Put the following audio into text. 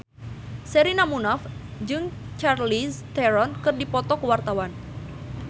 Sherina Munaf jeung Charlize Theron keur dipoto ku wartawan